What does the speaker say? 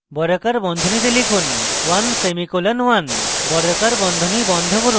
বর্গাকার বন্ধনী খুলুন 1 semicolon 1 বর্গাকার বন্ধনী বন্ধ করুন